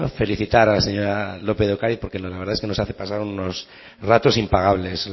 felicitar a la señora lópez de ocariz porque la verdad es que nos hace pasar unos ratos impagables